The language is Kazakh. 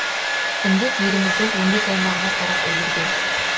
індет еліміздің он бес аймағына тарап үлгерген